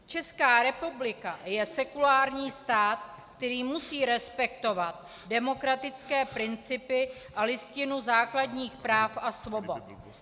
Česká republika je sekulární stát, který musí respektovat demokratické principy a Listinu základních práv a svobod.